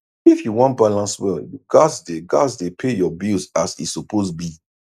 if you wan balance well you gats dey gats dey pay your bills as e suppose be